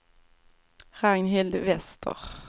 Ragnhild Wester